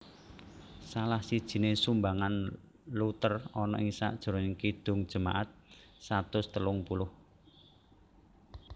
Salah sijine sumbangan Luther ana ing sajrone Kidung Jemaat satus telung puluh